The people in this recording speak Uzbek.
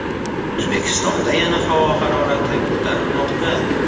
O‘zbekistonda havo harorati yana ko‘tarilmoqda.